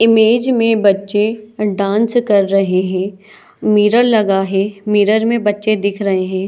Image में बच्चें dance कर रहे है मिरर लगा है मिरर में बच्चें दिख रहे है।